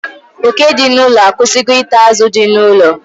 Oke dị n'ụlọ a akwụsịgo ita azụ dị n'ụlọ